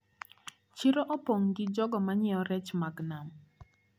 Chiro opong` gi jogo manyiewo rech mag nam.